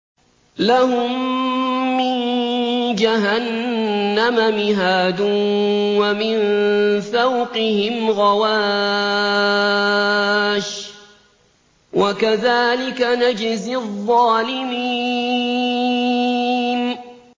لَهُم مِّن جَهَنَّمَ مِهَادٌ وَمِن فَوْقِهِمْ غَوَاشٍ ۚ وَكَذَٰلِكَ نَجْزِي الظَّالِمِينَ